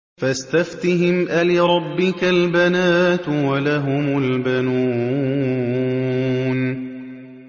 فَاسْتَفْتِهِمْ أَلِرَبِّكَ الْبَنَاتُ وَلَهُمُ الْبَنُونَ